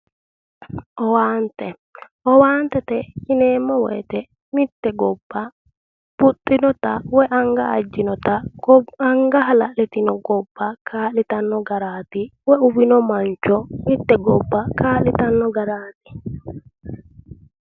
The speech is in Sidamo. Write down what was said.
Owaante, owaante yineemmo woyte mitte gobba buxxinota anga ajjinota anga hala'litino gobba kaa'litanno garaati wolu buxino mancho mitte gobba kaa'litanno garaati